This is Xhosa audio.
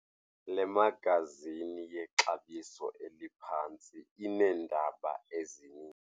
Le magazini yexabiso eliphantsi ineendaba ezininzi.